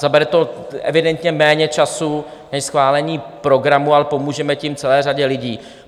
Zabere to evidentně méně času než schválení programu, ale pomůžeme tím celé řadě lidí.